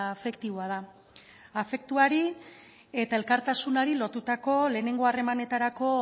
afektiboa da afektuari eta elkartasunari lotutako lehenengo harremanetarako